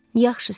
Yaxşı, ser.